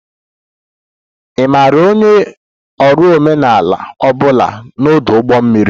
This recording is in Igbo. Ị maara onye ọrụ omenala ọ bụla na ọdụ ụgbọ mmiri?